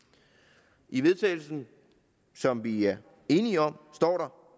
i vedtagelse som vi er enige om står der